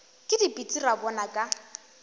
ke dipitsi ra bona ka